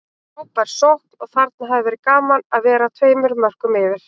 Frábær sókn og þarna hefði verið gaman að vera tveimur mörkum yfir.